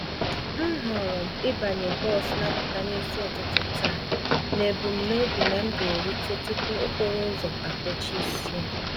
M họọrọ ịbanye bọs n'apụta n'isi ụtụtụ taa, nebum nobi na m g'eruta tupu okporouzo akpochisie